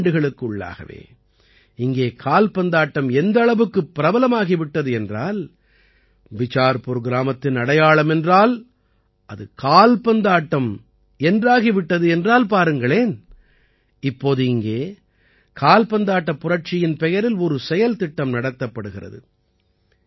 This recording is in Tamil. சில ஆண்டுகளுக்கு உள்ளாகவே இங்கே கால்பந்தாட்டம் எந்த அளவுக்குப் பிரபலமாகி விட்டது என்றால் பிசார்புர் கிராமத்தின் அடையாளம் என்றால் அது கால்பந்தாட்டம் என்றாகி விட்டது என்றால் பாருங்களேன் இப்போது இங்கே கால்பந்தாட்டப் புரட்சியின் பெயரில் ஒரு செயல்திட்டம் நடத்தப்படுகிறது